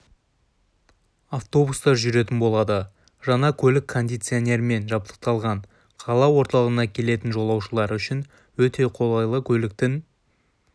автобустар жүретін болады жаңа көлік кондиционермен жабдықталған қала орталығына келетін жолаушылар үшін өте қолайлы көліктің